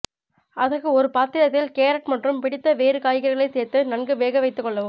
அதற்கு ஒரு பாத்திரத்தில் கேரட் மற்றும் பிடித்த வேறு காய்கறிகளை சேர்த்து நன்கு வேக வைத்துக் கொள்ளவும்